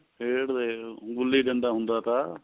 ਖੇਡਦੇ ਗੁੱਲੀ ਡੰਡਾ ਹੁੰਦਾ ਥਾ